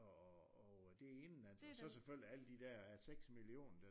Og det er indenlandsk og så selvfølgelig alle de der seks millioner